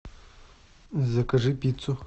закажи пиццу